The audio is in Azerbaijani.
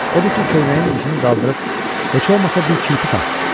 Odur ki, köynəyin ucunu qaldırıb heç olmasa bir kirpi tap.